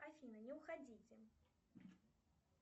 афина не уходите